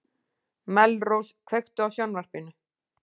Melrós, kveiktu á sjónvarpinu.